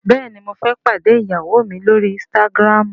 béèni mo fé pàdé ìyàwó mí l'ori Instagram.